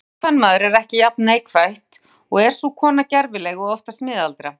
Stútungskvenmaður er ekki jafn neikvætt og er sú kona gervileg og oftast miðaldra.